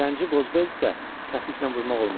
Zəngi qozbel isə, təpiklə vurmaq olmaz.